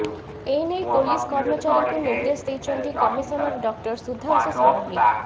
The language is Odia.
ଏନେଇ ପୋଲିସ୍ କମର୍ଚାରୀଙ୍କୁ ନିର୍ଦ୍ଦେଶ ଦେଇଛନ୍ତି କମିଶନର ଡକ୍ଟର ସୁଧାଂଶୁ ଷଡ଼ଙ୍ଗୀ